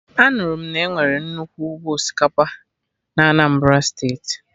Anụrụ m na enwere nnukwu ụgbọ osikapa na Anambra Steeti